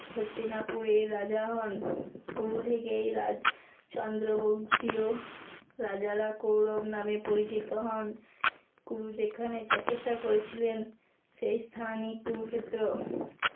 হস্তিনাপুরের রাজা হন। কুরু থেকেই রাজ চন্দ্র বংশীয় রাজারা কৌরব নামে পরিচিত হন। কুরু যেখানে তপস্বা করেছিলেন সেই স্থানই কুরুক্ষেত্র।